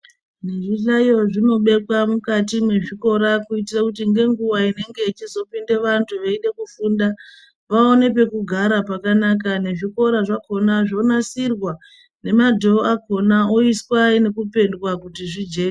Nezvihlayo zvinobekwa mwukati mwezvikora kuitire kuti ngenguva inenge ichizopinde vantu veide kufunda, vaone pekugara pakanaka. Nezvikora zvakona zvonasirwa nemadhoo akona oiswa nekupendwa kuti zvijeke.